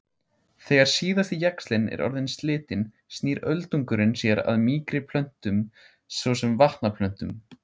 Þegar síðasti jaxlinn er orðinn slitinn snýr öldungurinn sér að mýkri plöntum svo sem vatnaplöntum.